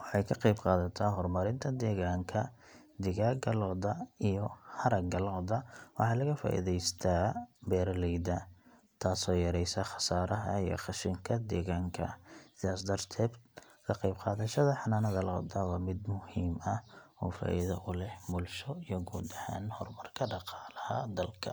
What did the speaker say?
waxay ka qaybqaadataa horumarinta deegaanka. Digaagga lo’da iyo haragga lo’da waxa laga faa’iidaystaa beeralayda, taasoo yaraysa khasaaraha iyo qashinka deegaanka. Sidaas darteed, ka qaybqaadashada xanaanada lo’da waa mid muhiim ah oo faa’iido u leh qofka, bulshada iyo guud ahaan horumarka dhaqaalaha dalka.